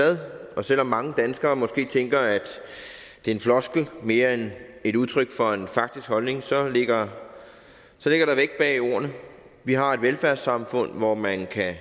ad og selv om mange danskere måske tænker at det er en floskel mere end et udtryk for en faktisk holdning så ligger så ligger der vægt bag ordene vi har et velfærdssamfund hvor man kan